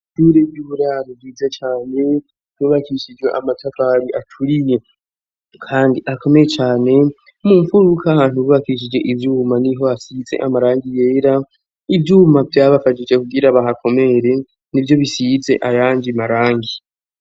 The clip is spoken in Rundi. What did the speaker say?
Ishure ry'uburaro ryiza cane nubakishije amatakari aturiye kandi akomeye cane mu mfuruka ahantu bubakishije ivyuma n'iho asize amarangi yera. Ivyuma vyabafajije kugira hakomere nivyo bisize ayangi marangi.